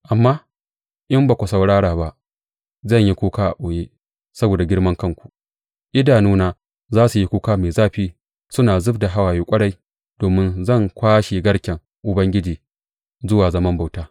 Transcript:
Amma in ba ku saurara ba, zan yi kuka a ɓoye saboda girmankanku; idanuna za su yi kuka mai zafi, suna zub da hawaye ƙwarai, domin zan kwashe garken Ubangiji zuwa zaman bauta.